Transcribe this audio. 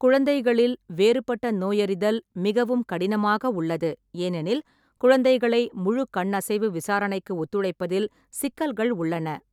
குழந்தைகளில், வேறுபட்ட நோயறிதல் மிகவும் கடினமாக உள்ளது. ஏனெனில், குழந்தைகளை முழு கண் அசைவு விசாரணைக்கு ஒத்துழைப்பதில் சிக்கல்கள் உள்ளன.